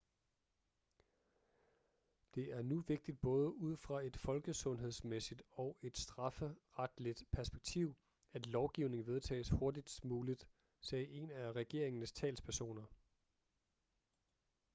det er nu vigtigt både ud fra et folkesundhedsmæssigt og et strafferetligt perspektiv at lovgivningen vedtages hurtigst muligt sagde en af regeringens talspersoner